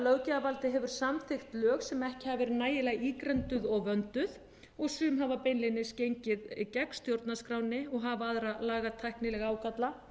löggjafarvaldið hefur samþykkt lög sem ekki hafa verið nægilega ígrunduð og vönduð og sum hafa beinlínis gengið gegn stjórnarskránni og hafa aðra lagatæknilega ágalla